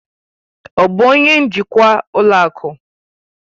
Ọ bụ onye njikwa ụlọ akụ?